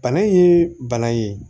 Bana in ye bana ye